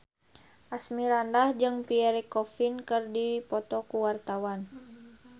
Asmirandah jeung Pierre Coffin keur dipoto ku wartawan